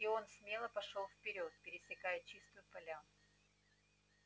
и он смело пошёл вперёд пересекая чистую поляну